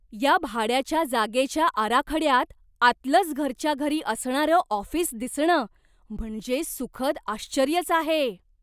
या भाड्याच्या जागेच्या आराखड्यात आतलंच घरच्या घरी असणारं ऑफिस दिसणं म्हणजे सुखद आश्चर्यच आहे.